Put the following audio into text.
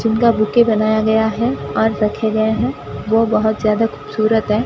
जिनका बुके बनाया गया है और रखे गये है जो बहोत ज्यादा खूबसूरत है।